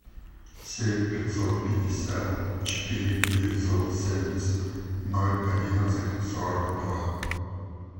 семь пятьсот пятьдесят четыре девятьсот семьдесят ноль одиннадцать сорок два